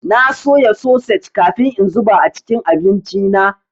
Na soya sosej kafin in zuba a cikin abinci na.